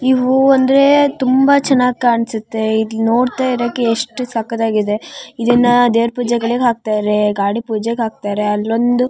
ಈ ಹೂವು ಅಂದ್ರೆ ತುಂಬಾ ಚೆನ್ನಾಗಿ ಕಾಣ್ಸುತ್ತೆ ಇಲಿ ನೋಡ್ತಾ ಇರಾಕ್ ಎಷ್ಟು ಸಕತ್ ಆಗಿದೆ ಇದುನ್ನ ದೇವ್ರ್ ಪೂಜೆಗಳಿಗೆ ಹಾಕ್ತಾರೆ ಗಾಡಿ ಪೂಜೆಗ್ ಹಾಕ್ತಾರೆ ಅಲ್ ಒಂದು --